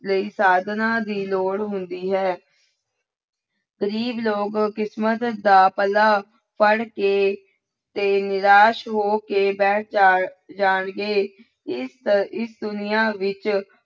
ਲਈ ਸਾਧਨਾ ਦੀ ਲੋੜ ਹੁੰਦੀ ਹੈ ਗ਼ਰੀਬ ਲੋਕ ਕਿਸਮਤ ਦਾ ਪੱਲਾ ਫੜ ਕੇ ਤੇ ਨਿਰਾਸ ਹੋ ਕੇ ਬੈਠ ਜਾ ਜਾਣਗੇ ਇਸ, ਇਸ ਦੁਨੀਆਂ ਵਿੱਚ